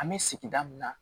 An bɛ sigida min na